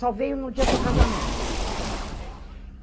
Só venho no dia do casamento.